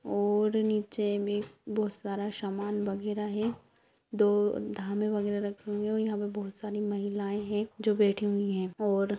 और नीचे में बहुत सारा सामान बगेरा है दो बगेरा रखी हुई है और यहाँ पर बहुत सारी महिलाये हैं जो बैठी हुई हैं |